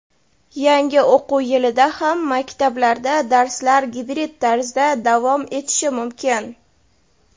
yangi o‘quv yilida ham maktablarda darslar gibrid tarzda davom etishi mumkin.